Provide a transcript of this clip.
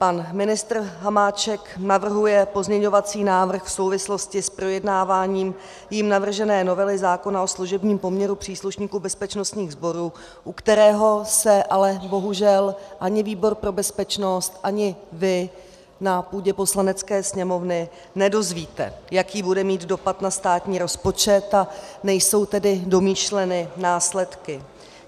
Pan ministr Hamáček navrhuje pozměňovací návrh v souvislosti s projednáváním jím navržené novely zákona o služebním poměru příslušníků bezpečnostních sborů, u kterého se ale bohužel ani výbor pro bezpečnost, ani vy na půdě Poslanecké sněmovny nedozvíte, jaký bude mít dopad na státní rozpočet, a nejsou tedy domýšleny následky.